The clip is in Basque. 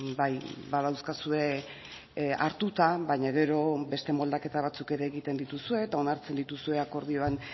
bai badauzkazue hartuta baina gero beste moldaketa batzuk ere egiten dituzue eta onartzen dituzue akordioan